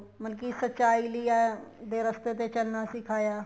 ਮਤਲਬ ਕੀ ਸੱਚਾਈ ਲਈ ਹੈ ਦੇ ਰਸਤੇ ਤੇ ਚੱਲਣਾ ਸਿਖਾਇਆ